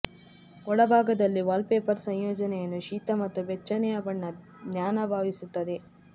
ಒಳಭಾಗದಲ್ಲಿ ವಾಲ್ಪೇಪರ್ ಸಂಯೋಜನೆಯನ್ನು ಶೀತ ಮತ್ತು ಬೆಚ್ಚನೆಯ ಬಣ್ಣ ಜ್ಞಾನ ಭಾವಿಸುತ್ತದೆ